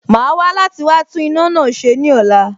Màá wá láti wá tún iná náà ṣe ní ọ̀la